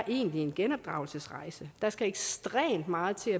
en genopdragelsesrejse egentlig der skal ekstremt meget til